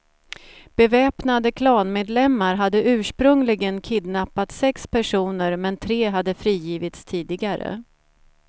Beväpnade klanmedlemmar hade ursprungligen kidnappat sex personer men tre hade frigivits tidigare.